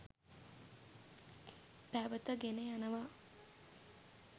පැවත ගෙන යනවා.